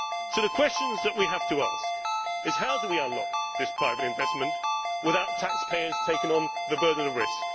So the questions we have to ask are how do we unlock this private investment without taxpayers taking on the burden of risk?